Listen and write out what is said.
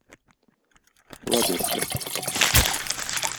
лабинска